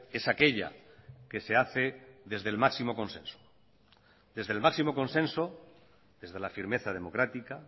es aquella que se hace desde el máximo consenso desde el máximo consenso desde la firmeza democrática